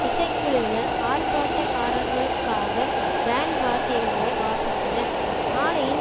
இசைக்குழுவினர் ஆர்ப்பாட்டக்காரர்களுக்காக பேண்டு வாத்தியங்களை வாசித்தனர் மாலையில்